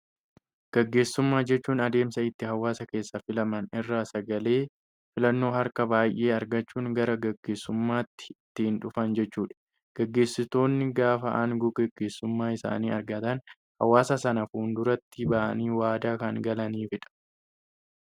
Gaggeessummaa jechuun adeemsa itti hawaasa keessaa filaman irraa sagalee filannoo harka baayyee argachuun gara gaggeessummaatti itti dhufan jechuudha. Gaggeessitoonni gaafa aangoo gaggeessummaa isaanii argatan, hawaasa sanaaf fulduraatti bahanii waadaa kan galaniifidha.